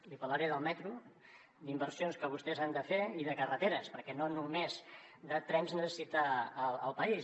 li parlaré del metro d’inversions que vostès han de fer i de carreteres perquè no només trens necessita el país